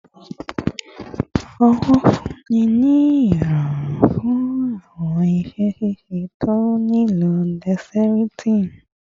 owo funni ni irọrun fun awọn iṣẹ ṣiṣe to nilo dexterity